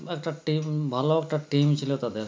একটা team ভালো একটা team ছিল তাদের